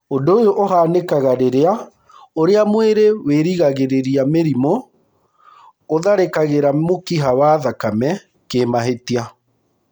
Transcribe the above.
Ũndũ ũyũ ũhanĩkaga rĩrĩa ũrĩa mwĩrĩ wĩrigagĩrĩria mĩrimũ ũtharĩkagĩra mũkiha wa thakame kĩmahĩtia.